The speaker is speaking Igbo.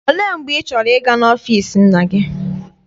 Olee mgbe ị chọrọ ịga n'ọfịịsi nna gị?